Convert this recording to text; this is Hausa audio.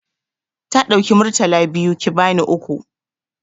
Ta ɗauki Murtala biyu ki bani uku.